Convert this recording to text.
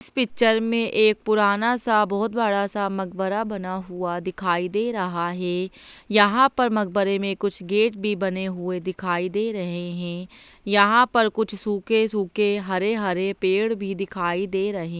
इस पिक्चर में एक पुराना सा बहोत बड़ा सा मकबरा बना हुआ दिखाई दे रहा है यहाँ पर मकबरे में कुछ गेट भी बने हुए दिखाई दे रहे हैं यहाँ पर कुछ सूखे सूखे हरे- हरे पेड़ भी दिखाई दे रहे --